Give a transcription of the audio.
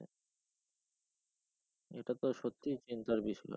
এটা তো সত্যিই চিন্তার বিষয়।